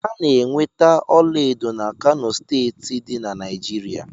A na-enweta ọlaedo na Kano steeti dị na Naijiria